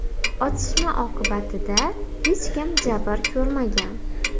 Otishma oqibatida hech kim jabr ko‘rmagan.